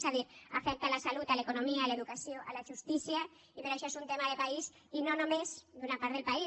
és a dir afecta la salut l’economia l’educació la justícia i per això és un tema de país i no només d’una part del país